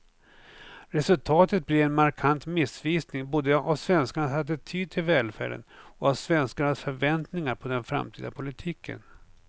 Resultatet blir en markant missvisning både av svenskarnas attityd till välfärden och av svenskarnas förväntningar på den framtida politiken.